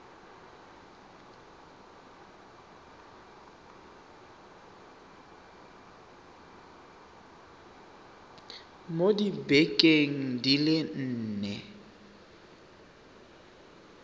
mo dibekeng di le nne